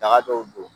Daga dɔw don